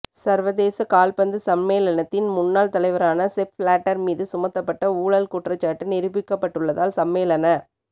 சர்வதேச கால்பந்து சம்மேளனத்தின் முன்னாள் தலைவரான செப் பிளேட்டர் மீது சுமத்தப்பட்ட ஊழல் குற்றச்சாட்டு நிரூபிக்கப்பட்டுள்ளதால் சம்மேளன